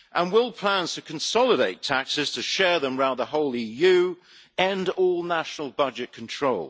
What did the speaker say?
Will plans to consolidate taxes, to share them round the whole EU, end all national budget control?